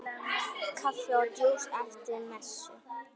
Kaffi og djús eftir messu.